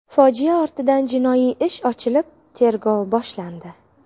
Fojia ortidan jinoiy ish ochilib, tergov boshlandi.